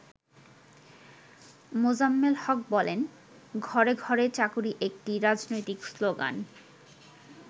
মোজাম্মেল হক বলেন, “ঘরে ঘরে চাকুরী একটি রাজনৈতিক শ্লোগান।